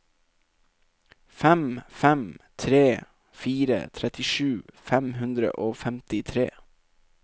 fem fem tre fire trettisju fem hundre og femtitre